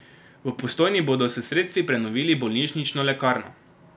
V Postojni bodo s sredstvi prenovili bolnišnično lekarno.